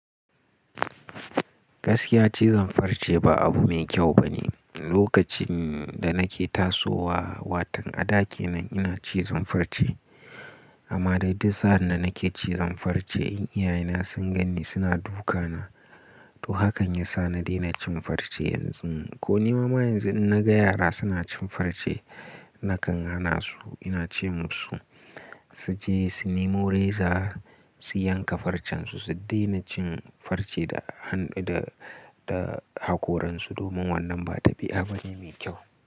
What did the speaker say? Gaskiya cizon farce ba abu mai kyau bane. Lokacin da nake tasowa watan a ɗa kenan ina cizon farce amma dai duk sa'anda nake cizon farce ƴan iyayena sun ganni suna dukana. To hakan ya sa na daina cin farce yanzu. Ko nima ma yanzu in naga yara suna cin farce nakan hana su. Ina ce musu su je su nemo reza su yanka farcen su, su daina cin farce da, da, da hakoransu domin wannan ba tabi'a bane mai kyau.